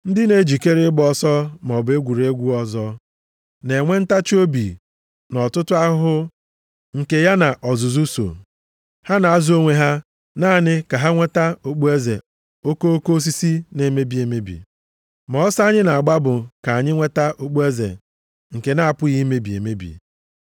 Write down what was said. Ndị na-ejikere ịgba ọsọ maọbụ egwuregwu ọzọ na-enwe ntachiobi nʼọtụtụ ahụhụ nke ya na ọzụzụ so. Ha na-azụ onwe ha naanị ka ha nweta okpueze okoko osisi na-emebi emebi. Ma ọsọ anyị na-agba bụ ka anyị nweta okpueze nke na-apụghị imebi emebi.